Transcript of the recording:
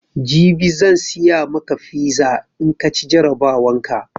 Jibi zan siya maka fiza in kaci jarabawan ka